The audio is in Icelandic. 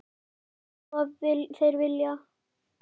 Rétt einsog þeir vilja.